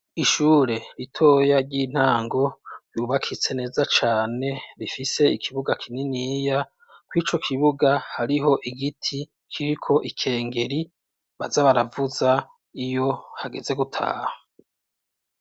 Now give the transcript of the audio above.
Ishure ritoya ry'intango yubakitse neza cane rifise ikibuga kininiya, kurico kibuga hariho igiti kiriko ikengeri baza baravuza iyo hageze gutaha.